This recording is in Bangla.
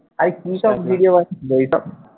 আরে কিসব video বানাচ্ছিস ওইসব